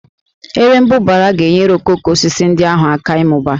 Erembụbara ga-enyere okooko osisi ndị ahụ aka ịmụba